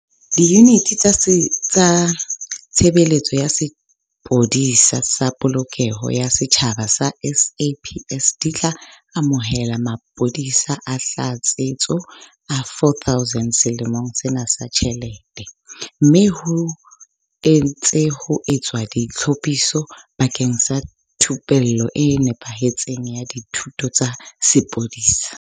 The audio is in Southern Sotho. Diyuniti tsa Tshebeletso ya Sepolesa sa Polokeho ya Setjhaba tsa SAPS di tla amohela mapolesa a tlatsetso a 4 000 selemong sena sa ditjhelete, mme ho ntse ho etswa ditlhophiso bakeng sa thupello e nepahetseng ya ditho tsa sepolesa.